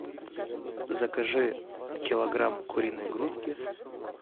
закажи килограмм куриной грудки